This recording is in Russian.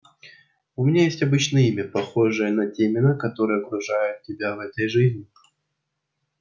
у меня есть обычное имя похожее на те имена которые окружают тебя в этой жизни